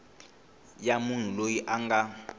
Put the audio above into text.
ya munhu loyi a nga